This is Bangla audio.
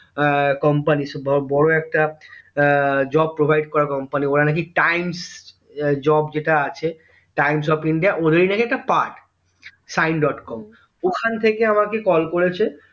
এর company বড়ো একটা এর job provide করা company ওরা নাকি times এ Job যেটা আছে time of india ওদেরই নাকি একটা part সাইন ডট কম ওখান থেকে আমাকে কল করেছে